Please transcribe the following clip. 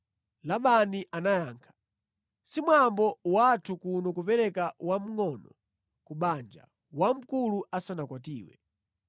Labani anayankha, “Si mwambo wathu kuno kupereka wamngʼono ku banja, wamkulu asanakwatiwe.